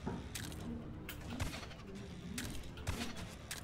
лучшая часть уильяма вево